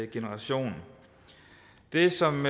generation det som